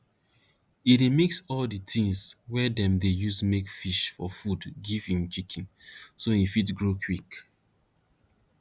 e dey mix all di things wey dem dey use make fish for food give im chicken so e fit grow quick